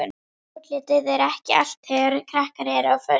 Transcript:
Útlitið er ekki allt þegar krakkar eru á föstu.